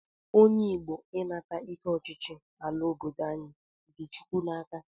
Onye Igbo ịnata ike ọchịchị ala obodo anyị dị Chukwu n'aka